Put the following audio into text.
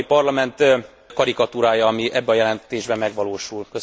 Az Európai Parlament karikatúrája, ami ebben a jelentésben megvalósul.